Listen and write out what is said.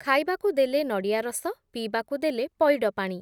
ଖାଇବାକୁ ଦେଲେ ନଡ଼ିଆ ରସ, ପିଇବାକୁ ଦେଲେ, ପଇଡ଼ ପାଣି ।